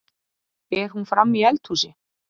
Er hún frammi í eldhúsi?